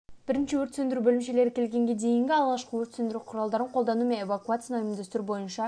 бірінші өрт сөндіру бөлімшелері келгенге дейін алғышқы өрт сөндіру құралдарын қолдану мен эвакуацияны ұйымдастыру бойынша